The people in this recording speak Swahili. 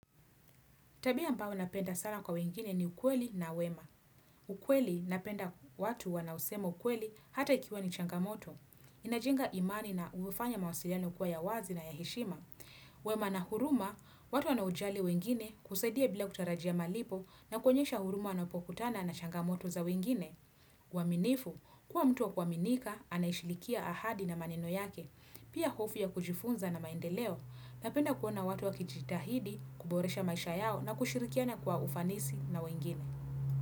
Tabia ambayo napenda sana kwa wengine ni ukweli na wema. Ukweli napenda watu wanaosema ukweli hata ikiwa ni changamoto. Inajenga imani na umefanya mawasiliano kuwa ya wazi na ya heshima. Wema na huruma, watu wanaojali wengine husaidia bila kutarajia malipo na kuonyesha huruma wanaupokutana na changamoto za wengine. Waminifu, kuwa mtu wa kuaminika, anayeshilikia ahadi na maneno yake. Pia hofu ya kujifunza na maendeleo napenda kuona watu wa kijitahidi kuboresha maisha yao na kushirikiana kwa ufanisi na wengine.